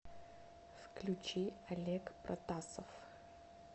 включи олег протасов